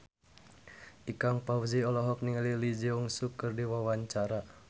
Ikang Fawzi olohok ningali Lee Jeong Suk keur diwawancara